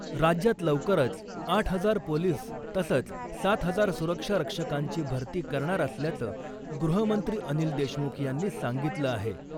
राज्यात लवकरच आठ हजार पोलीस तसंच सात हजार सुरक्षा रक्षकांची भरती करणार असल्याचं गृहमंत्री अनिल देशमुख यांनी सांगितलं आहे .